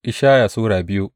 Ishaya Sura biyu